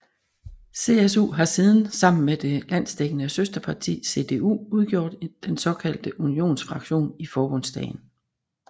CSU har siden sammen med det landsdækkende søsterparti CDU udgjort den såkaldte unionsfraktion i Forbundsdagen